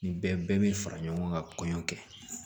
Nin bɛɛ bɛ fara ɲɔgɔn kan kɔɲɔ kɛ